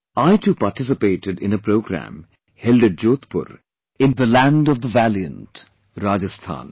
I too participated in a programme held at Jodhpur in the land of the valiant, Rajasthan